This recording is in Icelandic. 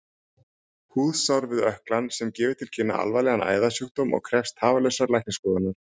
Húðsár við ökklann sem gefur til kynna alvarlegan æðasjúkdóm og krefst tafarlausrar læknisskoðunar.